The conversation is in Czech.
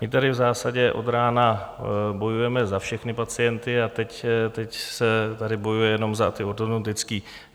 My tady v zásadě od rána bojujeme za všechny pacienty a teď se tady bojuje jen za ty ortodontické.